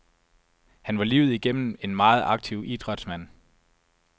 Han var livet igennem en meget aktiv idrætsmand.